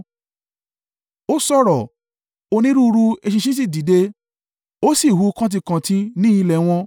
Ó sọ̀rọ̀, onírúurú eṣinṣin sì dìde, ó sì hu kantíkantí ní ilẹ̀ wọn